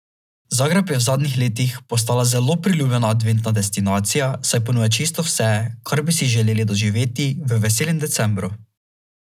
Zagreb je v zadnjih letih postala zelo priljubljena adventna destinacija saj ponuja čisto vse, kar bi si želeli doživeti v veselem decembru.